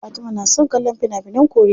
Fatima na son kallon fina finan koriya.